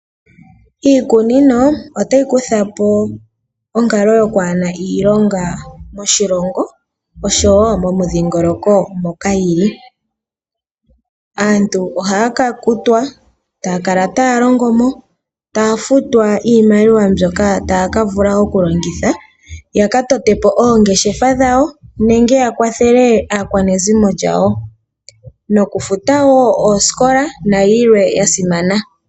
Iikunino otayi kuthapo onkalo yo kwaana ilonga moshilongo noshowo momudhingoloko moka yili. Aantu ohaya kutwa taya kala taya longo nokufuta iimaliwa mbyoka haya futwa iimaliwa mbyoka taya ka vula okulongitha okukwathela aakwanezimo yawo nokufuta oosikola.